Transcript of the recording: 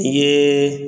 I ye